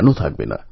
উনি লিখেছেন